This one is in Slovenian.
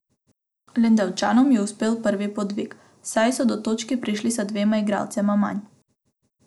Lendavčanom je uspel pravi podvig, saj so do točke prišli z dvema igralcema manj.